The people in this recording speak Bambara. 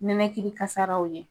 Nɛnɛkili kasaraw ɲɛ.